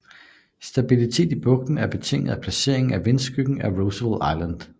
Stabiliteten i bugten er betinget af placeringen i vindskyggen af Roosevelt Island